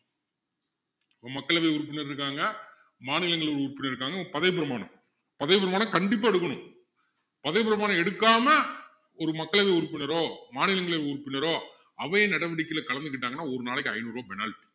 மக்களவை உறுப்பினர் இருக்காங்க மாநிலங்கள் உறுப்பினர் இருக்காங்க இப்போ பதவிப்பிரமாணம் பதவிப்பிரமாணம் கண்டிப்பா எடுக்கணும் பதவிப்பிரமாணம் எடுக்காம ஒரு மக்களவை உறுப்பினரோ மாநிலங்களவை உறுப்பினரோ அவை நடவடிக்கையில கலந்துக்கிட்டாங்கன்னா ஒரு நாளைக்கு ஐநூறு ரூபாய் penalty